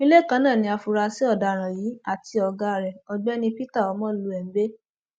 ilé kan náà ni àfúrásì ọdaràn yìí àti ọgá rẹ ọgbẹni peter omolohie ń gbé